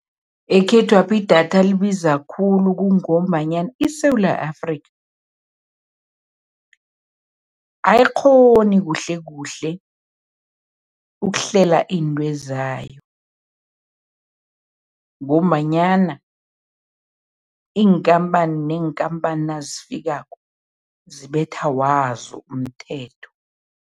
Ekhethwapha idatha libiza khulu kungombanyana iSewula Afrika ayikghoni kuhlekuhle ukuhlela iinto zayo ngombanyana iinkhamphani neenkhamphani nazifikako, zibethwa wazo umthetho.